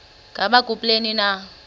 ngaba kubleni na